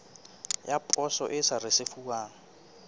ya poso e sa risefuwang